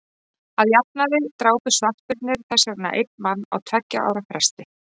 að jafnaði drápu svartbirnir þess vegna einn mann á tveggja ára fresti